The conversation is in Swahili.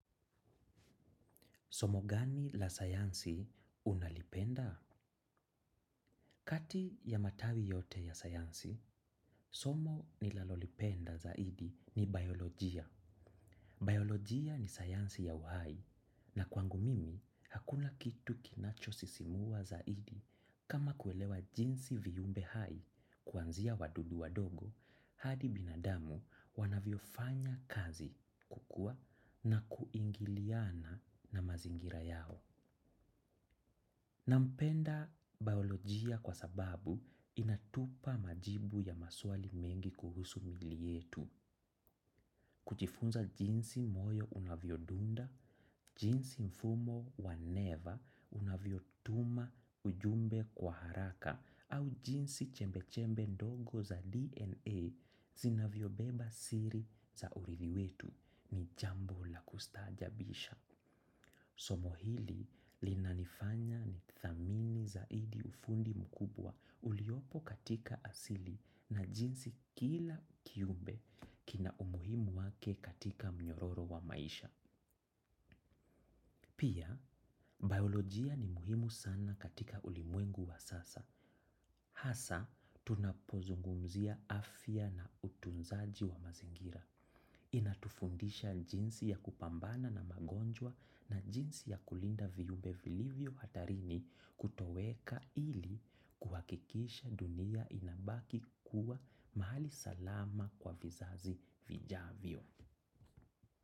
Somo gani la sayansi unalipenda? Kati ya matawi yote ya sayansi, somo ninalolipenda zaidi ni biolojia. Biolojia ni sayansi ya uhai na kwangu mimi hakuna kitu kinacho sisimua zaidi kama kuelewea jinsi viumbe hai kuanzia wadudu wadogo hadi binadamu wanavyo fanya kazi kukua na kuingiliana na mazingira yao. Nampenda biolojia kwa sababu inatupa majibu ya maswali mengi kuhusu mili yetu. Kujifunza jinsi moyo unavyo dunda, jinsi mfumo wa neva unavyo tuma ujumbe kwa haraka au jinsi chembe-chembe ndogo za DNA zinavyo beba siri za urithi wetu ni jambo la kustajabisha. Somo hili linanifanya ni thamini zaidi ufundi mkubwa uliopo katika asili na jinsi kila kiumbe kina umuhimu wake katika mnyororo wa maisha. Pia, biolojia ni muhimu sana katika ulimwengu wa sasa. Hasa, tunapozungumzia afya na utunzaji wa mazingira. Inatufundisha jinsi ya kupambana na magonjwa na jinsi ya kulinda viumbe vilivyo hatarini kutoweka ili kuhakikisha dunia inabaki kuwa mahali salama kwa vizazi vijavyo.